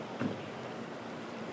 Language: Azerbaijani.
Sadə gəl.